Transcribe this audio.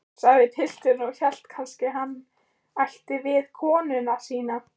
sagði pilturinn og hélt kannski hann ætti við konuna sína.